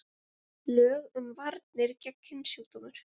Lög um varnir gegn kynsjúkdómum.